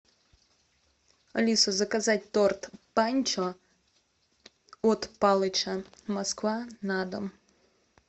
алиса заказать торт панчо от палыча москва на дом